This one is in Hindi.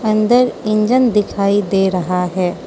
अंदर इंजन दिखाई दे रहा है।